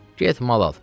Get mal al.